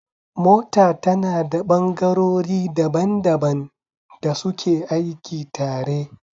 Mota tana da ɓangarori daban daban da suke aiki tare